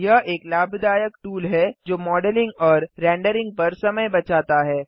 यह एक लाभदायक टूल है जो मॉडलिंग और रेंडरिंग पर समय बचाता है